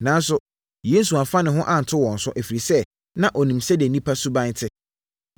Nanso, Yesu amfa ne ho anto wɔn so, ɛfiri sɛ, na ɔnim sɛdeɛ nnipa suban te.